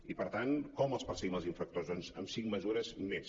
i per tant com els perseguim els infractors doncs amb cinc mesures més